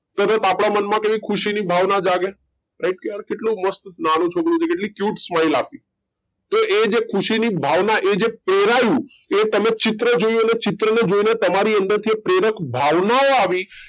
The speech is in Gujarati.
તરત આપણા મન માં ખુશી ની ભાવના કેટલું મસ્ત નાનું છોકરું છે cute smile આપી તે એજ ખુશી ની ભાવના એ જે પ્રેરાઈ એ તમે ચિત્ર જોઉં અને ચિત્ર ને જોઈ ને તમારી અંદર જે પ્રેરક ભાવના ઓ આવી